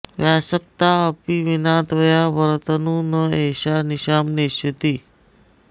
व्यासक्ता अपि विना त्वया वरतनुः न एषा निशाम् नेष्यति